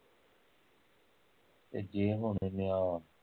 ਤੇ ਜੇ ਹੁਣ ਇਹਨੇ ਆਹ